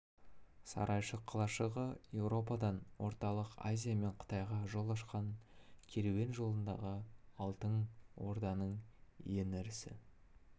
сарайшық қалашығы еуропадан орталық азия мен қытайға жол ашқан керуен жолындағы алтын орданың ең ірі